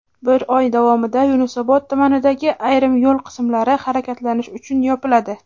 bir oy davomida Yunusobod tumanidagi ayrim yo‘l qismlari harakatlanish uchun yopiladi:.